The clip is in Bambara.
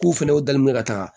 K'u fɛnɛ dalen bɛ ka taga